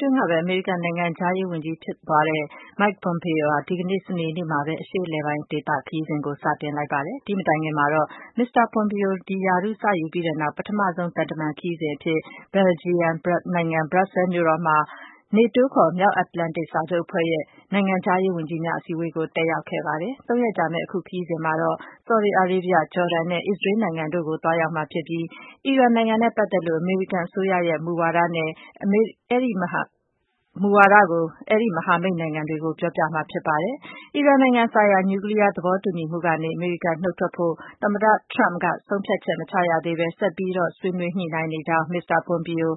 တွင်းကပဲ အမေရိကန် နိုင်ငံခြားရေးဝန်ကြီးဖြစ်သွားတဲ့ Mike Pompeo ဟာ ဒီကနေ့ စနေနေ့မှာပဲ အရှေ့အလယ်ပိုင်း ဒေသခရီးစဉ်ကို စတင်လိုက်ပါတယ်။ ဒီမတိုင်ခင်မှာတော့ မစ္စတာ ပွန်ပီယို ဒီရာထူး စယူူပြီးနောက် ပထမဆုံး သံတမန်ခရီးစဉ်အဖြစ် ဘယ်လ်ဂျီယံနိုင်ငံ၊ ဘရပ်ဆဲလ်မြို့တော်မှာ နေတိုးခေါ် မြောက်အတ္တလန်တိတ် စစ်စာချုပ်အဖွဲ့ရဲ့ နိုင်ငံခြားရေးဝန်ကြီးများ အစည်းအဝေးကို သွားတက်ရာက်ခဲ့ပါတယ်။ သုံးရက်ကြာမယ့် အခုခရီးစဉ်မှာတော့ ဆော်ဒီအာရေဗျ၊ ဂျော်ဒန်နဲ့ အစ္စရေးနိုင်ငံတို့ကို ဝင်ရောက်မှာဖြစ်ပြီး အီရန်နိုင်ငံနဲ့ပတ်သက်လို့ အမေရိကန် အစိုးရရဲ့ မူဝါဒကို အမေရိကန်ရဲ့အဲဒီ မဟာမိတ်နိုင်ငံတွေကို ပြောပြမှာဖြစ်ပါတယ်။ အီရန်နိုင်ငံဆိုင်ရာ နျူကလီယား သဘောတူညီမှုကနေ အမေရိကန်နုတ်ထွက်ဖို့ သမ္မတထရမ့်က ဆုံးဖြတ်ချက်မချရသေးဘဲ ဆက်ပြီး ဆွေးနွေးညှိနှိုင်းနေကြောင်း မစ္စတာပွန်ပီယို